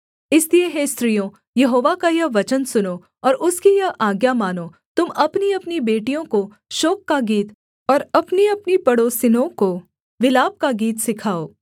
इसलिए हे स्त्रियों यहोवा का यह वचन सुनो और उसकी यह आज्ञा मानो तुम अपनीअपनी बेटियों को शोक का गीत और अपनीअपनी पड़ोसिनों को विलाप का गीत सिखाओ